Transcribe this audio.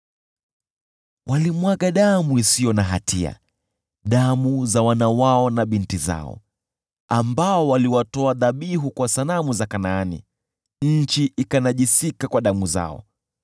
Walimwaga damu isiyo na hatia, damu za wana wao na binti zao, ambao waliwatoa dhabihu kwa sanamu za Kanaani, nayo nchi ikanajisika kwa damu zao.